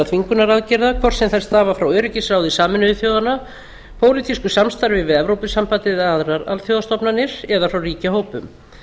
þvingunaraðgerða hvort sem þær stafa frá öryggisráði sameinuðu þjóðanna pólitísku samstarfi við evrópusambandið eða aðrar alþjóðastofnanir eða frá ríkjahópum